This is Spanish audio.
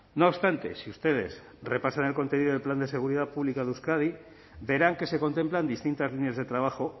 no obstante si ustedes repasan en el contenido del plan de seguridad pública de euskadi verán que se contemplan distintas líneas de trabajo